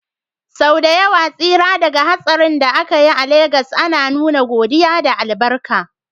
Sau da yawa tsira daga hatsarin da aka yi a Legas ana nuna godiya da albarka.